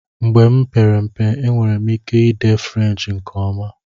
Mgbe m kpere mpe, enwere m ike ide French nke ọma